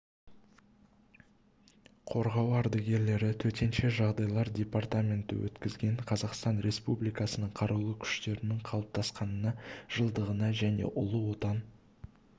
қорғау ардагерлері төтенше жағдайлар департаменті өткізген қазақстан республикасының қарулы күштерінің қалыптасқанына жылдығына және ұлы отан